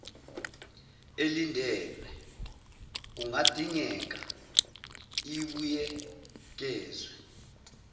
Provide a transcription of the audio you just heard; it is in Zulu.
elindelwe kungadingeka ibuyekezwe